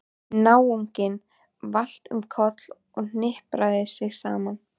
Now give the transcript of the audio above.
Náunginn valt um koll og hnipraði sig saman.